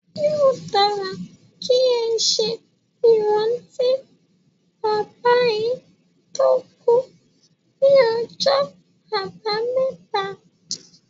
Yóò dára kí ẹ ṣe ìrántí bàbá yín tó kú ní ọjọ́ àbámẹ́ta.